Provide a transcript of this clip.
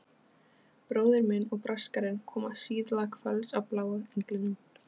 Bróðir minn og Braskarinn koma síðla kvölds á Bláa englinum.